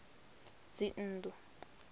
dzinnḓu